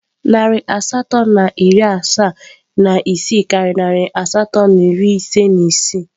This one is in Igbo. Narị asatọ na iri asaa na isii karịrị narị asatọ na iri ise na isii.